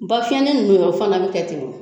Bafiɲɛnin nunnu yɛrɛ o fana be kɛ ten